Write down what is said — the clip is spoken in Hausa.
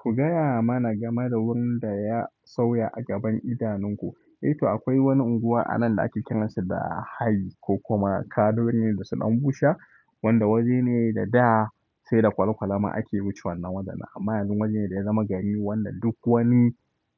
Ku gaya mana game da wurin da ya sauya a gaban idanunku. Ito akwai wani unguwa anan da ake kiransa da hayi ko kuma kaduwar ne da sun bushe wanda waje ne da da sai da kwale-kwale ma ake wuce wannan wajen. Amma yanzu waje ne da ya zama gari wanda duk wani